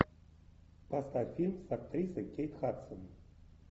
поставь фильм с актрисой кейт хадсон